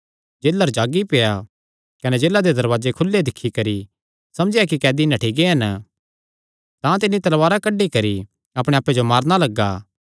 जेलर जागी पेआ कने जेला दे दरवाजे खुले दिक्खी करी समझेया कि कैदी नठ्ठी गै हन तां तिन्नी तलवारा कड्डी करी अपणे आप्पे जो मारणा लग्गा